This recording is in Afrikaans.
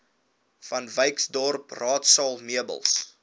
vanwyksdorp raadsaal meubels